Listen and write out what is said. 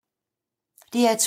DR2